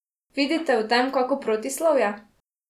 Vidite v tem kako protislovje?